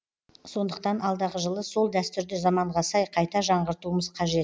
сондықтан алдағы жылы сол дәстүрді заманға сай қайта жаңғыртуымыз қажет